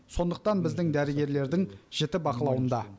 сондықтан біздің дәрігерлердің жіті бақылауында